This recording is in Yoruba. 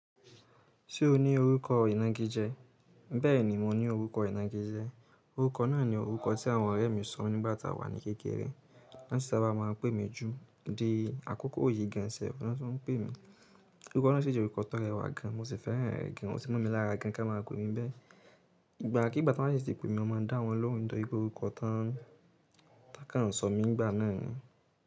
Ṣé o ní orúkọ ìnagijẹ? Bẹ́ẹ̀ ni, mo ní orúkọ ìnagijẹ. Orúkọ náà ni orúkọ tí àwọn ọ̀rẹ́ mi sọ̀ mí nígbà tí a wà ní kékeré. Wọ́n sì sábà máa ń pè mí ju di akọ́kọ́ yì gan sef, wọn tún ń pè mí. Orúkọ náà sì jẹ́ orúkọ tó rẹwà gan, mo sì fẹ́ràn rẹ̀ gan, o ti mọ̀ mí lára gan kí wọ́n máa ń pe mi bẹ́ẹ̀. Ìgbà kii gba tí wọ́n bá sì ti pé mi, mo máa dá wọn lóhùn nítorípé orúkọ tán. Tàkún sọ̀ mí nígbà náà ni.